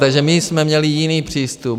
Takže my jsme měli jiný přístup.